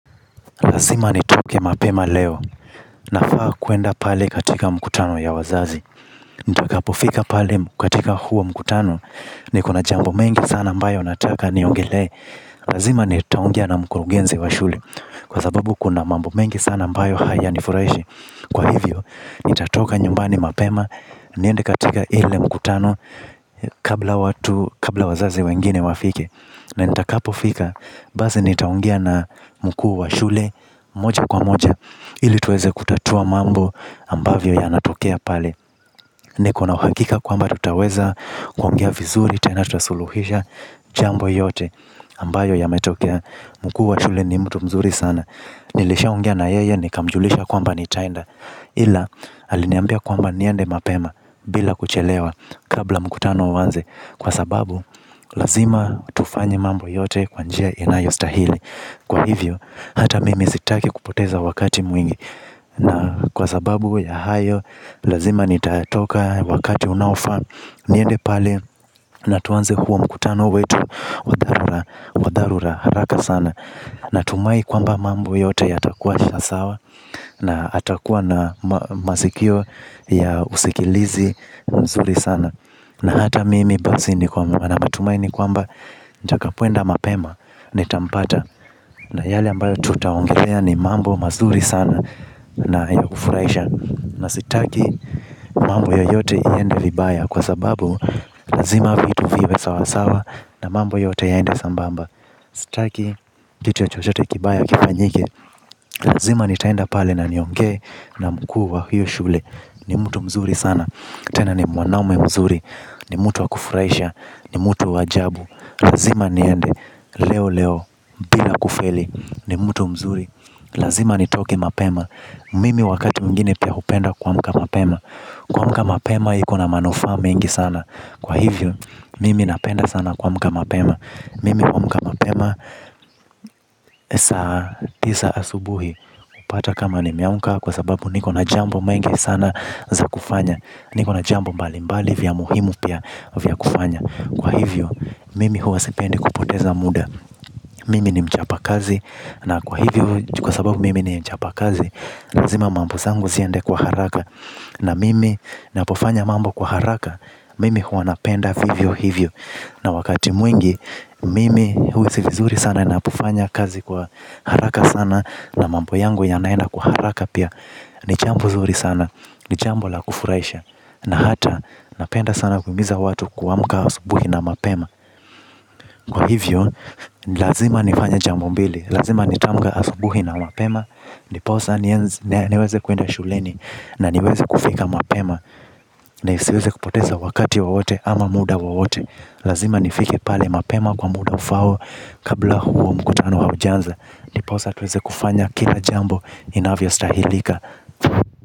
Na lazima nitoke mapema leo nafaa kuenda pale katika mkutano ya wazazi. Nita kapofika pale katika huo mkutano niko na jambo mengi sana ambayo nataka niongelee. Lazima nitaongea na mkurugenzi wa shule. Kwa sababu kuna mambo mengi sana ambayo haya ni furaishi. Kwa hivyo, nitatoka nyumbani mapema niende katika ile mkutano kabla wazazi wengine wafike. Na nitakapo fika, basi nitaongea na mkuu wa shule moja kwa moja. Ili tuweze kutatua mambo ambavyo ya natokea pale. Niko na uhakika kwamba tutaweza kuongea vizuri tena tutasuluhisha jambo yote ambayo yametokea mkuu wa shule ni mtu mzuri sana. Nilishaongea na yeye nikamjulisha kwamba nitaenda. Ila aliniambia kwamba niende mapema bila kuchelewa kabla mkutano uanze. Kwa sababu lazima tufanye mambo yote kwa njia inayostahili. Kwa hivyo hata mimi sitaki kupoteza wakati mwingi na kwa sababu ya hayo lazima nitatoka wakati unaofaa. Niende pale na tuanze huo mkutano wetu wa dharura haraka sana natumai kwamba mambo yote yatakuwa sawa. Na atakuwa na masikio ya usikilizi mzuri sana. Na hata mimi basi ni kwamba na matumaini kwamba nitakapoenda mapema nitampata. Na yale ambayo tutaongelea ni mambo mazuri sana na ya kufuraisha. Na sitaki mambo yoyote iende vibaya. Kwa sababu lazima vitu viwe sawasawa na mambo yote yaende sambamba. Sitaki kitu ya chochote kibaya kifanyike. Lazima ni taenda pale na nionge na mkuu wa hiyo shule. Ni mtu mzuri sana. Tena ni mwanaume mzuri, ni mutu wakufuraisha, ni mutu wa ajabu. Lazima niende, leo leo, bila kufeli, ni mutu mzuri. Lazima nitoke mapema. Mimi wakati mwingine pia hupenda kuamka mapema. Kuamka mapema ikona manufaa mengi sana. Kwa hivyo, mimi napenda sana kuamka mapema. Mimi kuamka mapema saa tisa asubuhi inapata kama nimeamka kwa sababu niko jambo mengi sana za kufanya. Niko na jambo mbalimbali vya muhimu pia vya kufanya kwa hivyo mimi huwa sipendi kupoteza muda. Mimi ni mchapa kazi. Na kwa hivyo, kwa sababu mimi ni mchapa kazi. Lazima mambo zangu ziende kwa haraka na mimi napofanya mambo kwa haraka. Mimi huwa napenda vivyo hivyo. Na wakati mwingi, mimi huhisi vizuri sana. Napofanya kazi kwa haraka sana. Na mambo yangu yanaenda kwa haraka pia. Ni jambo zuri sana. Ni jambo la kufuraisha. Na hata, napenda sana kuhimiza watu kuamka asubuhi na mapema. Kwa hivyo, lazima nifanye jambo mbili. Lazima nitamka asubuhi na mapema. Ndiposa niweze kuenda shuleni. Na niweze kufika mapema. Na isiweze kupoteza wakati wowote ama muda wowote. Lazima nifike pale mapema kwa muda ufaao. Kabla huo mkutano haujanza ndiposa tuweze kufanya kila jambo inavyo stahilika.